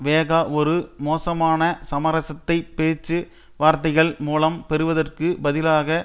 வேகா ஒரு மோசமான சமரசத்தை பேச்சு வார்த்தைகள் மூலம் பெறுவதற்கு பதிலாக